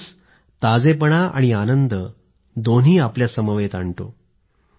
पाऊस ताजेपणा आणि आनंदम्हणजे फ्रेशनेस आणि हॅपीनेसदोन्ही आपल्यासमवेत आणतो